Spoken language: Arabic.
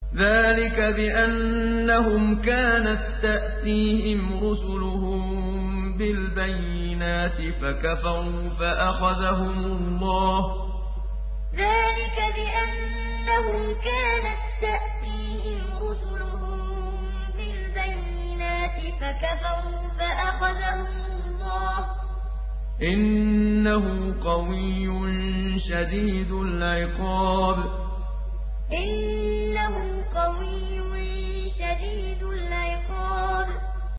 ذَٰلِكَ بِأَنَّهُمْ كَانَت تَّأْتِيهِمْ رُسُلُهُم بِالْبَيِّنَاتِ فَكَفَرُوا فَأَخَذَهُمُ اللَّهُ ۚ إِنَّهُ قَوِيٌّ شَدِيدُ الْعِقَابِ ذَٰلِكَ بِأَنَّهُمْ كَانَت تَّأْتِيهِمْ رُسُلُهُم بِالْبَيِّنَاتِ فَكَفَرُوا فَأَخَذَهُمُ اللَّهُ ۚ إِنَّهُ قَوِيٌّ شَدِيدُ الْعِقَابِ